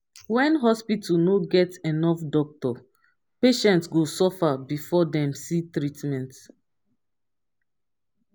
when hospital no get enough doctor patient go suffer before dem see treatment.